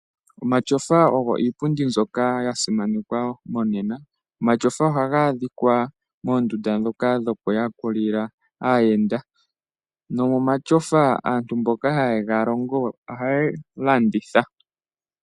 Omatyofa ogo iipundi mbyoka yasimanekwa monena. Omatyofa ohaga adhika moondunda ndhoka dhokuyakulila aayenda. Nomatyofa aantu mboka haye ga galongo ohaya landitha.